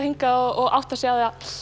hingað og áttar sig